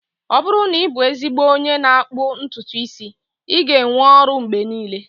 Ọ bụrụ na ị bụ ezigbo onye n'akpụ ntutu isi, ị ga-enwe ọrụ mgbe niile